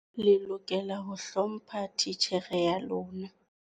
Le lokela ho hlompha titjhere ya lona.